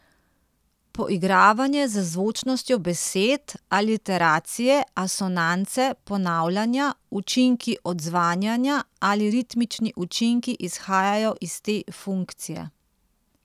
Poigravanje z zvočnostjo besed, aliteracije, asonance, ponavljanja, učinki odzvanjanja ali ritmični učinki izhajajo iz te funkcije.